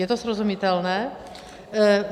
Je to srozumitelné?